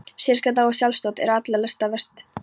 Sérgæskan og sjálfsþóttinn eru allra lasta verst.